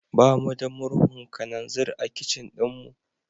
Ba mu da murhun kananzir a kicin ɗinmu.